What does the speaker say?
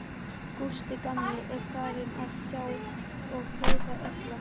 Gústi gamli er farinn að sjá og heyra illa.